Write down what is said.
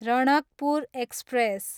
Ranakpur express